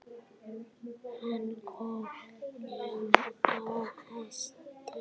Hann kom einn á hesti.